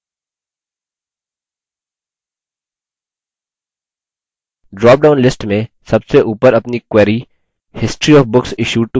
drop down list में सबसे उपर अपनी query: history of books issued to members चुनते हैं